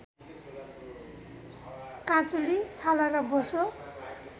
काँचुली छाला र बोसो